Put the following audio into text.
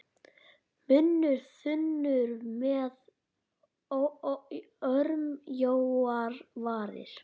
Munnur þunnur með örmjóar varir.